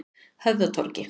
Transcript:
Höfðatorgi